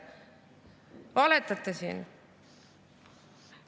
Te valetate siin.